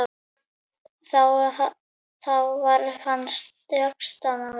Þá var hann sextán ára.